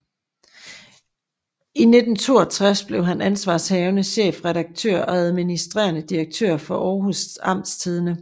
I 1962 blev han ansvarshavende chefredaktør og administrerende direktør for Aarhus Amtstidende